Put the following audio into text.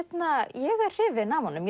er hrifin af honum